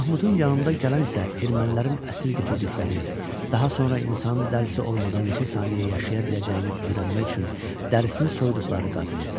Mahmudun yanında gələn isə ermənilərin əsir götürdükləri, daha sonra insanın dərisi olmadan neçə saniyə yaşaya biləcəyini öyrənmək üçün dərisini soyduqları qadın idi.